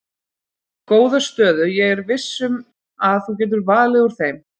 Góða stöðu ég er viss um að þú getur valið úr þeim.